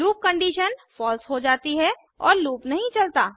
loop condition false हो जाती है और लूप नहीं चलता